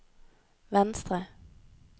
venstre